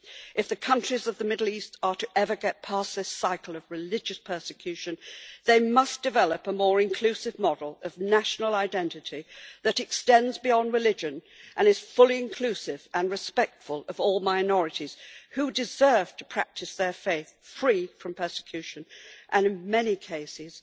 If the countries of the Middle East are ever to get past this cycle of religious persecution, they must develop a more inclusive model of national identity that extends beyond religion and is fully inclusive and respectful of all minorities who deserve to practise their faith free from persecution, and in many cases,